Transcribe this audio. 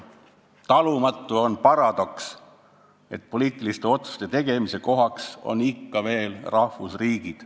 Talumatu on paradoks, et poliitiliste otsuste tegemise kohaks on ikka veel rahvusriigid.